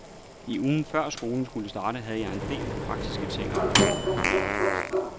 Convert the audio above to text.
I ugen før skolen skulle starte, havde jeg en del praktiske ting at ordne.